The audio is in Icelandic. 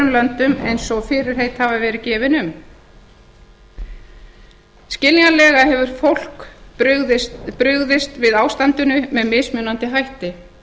löndum eins og fyrirheit hafa verið gefin um skiljanlega hefur fólk brugðist við ástandinu með mismunandi hætti